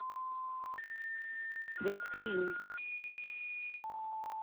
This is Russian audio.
светская жизнь